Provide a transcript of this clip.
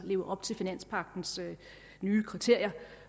lever op til finanspagtens nye kriterier